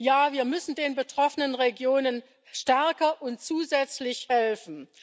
Ja, wir müssen den betroffenen Regionen stärker und zusätzlich helfen.